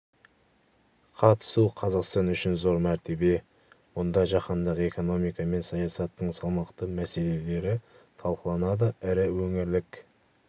қатысу қазақстан үшін зор мәртебе мұнда жаһандық экономика мен саясаттың салмақты мәселелері талқыланады ірі өңірлік